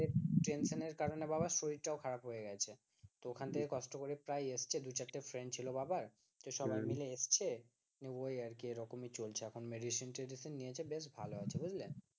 Tension এর কারণে বাবার শরীরটা ও খারাপ হয়ে গেছে তো ওখান থেকে কষ্ট করে প্রায় এসেছে দু-চারটে friend ছিল বাবার তো সবাই মিলে এসেছে ওই আর কি এরকমই চলছে এখন medicine ট্রেডিশন নিয়েছে বেশ ভালো আছে, বুঝলে?